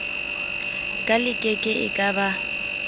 ka lekeke e ka ba